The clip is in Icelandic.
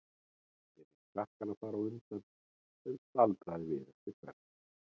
Ég lét krakkana fara á undan, en staldraði við eftir Benna.